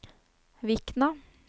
Vikna